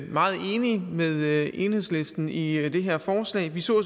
meget enige med enhedslisten i det her forslag vi så